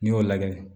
N'i y'o lagɛ